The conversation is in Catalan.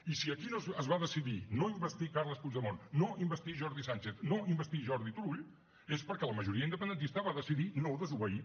i si aquí es va decidir no investir carles puigdemont no investir jordi sànchez no investir jordi turull és perquè la majoria independentista va decidir no desobeir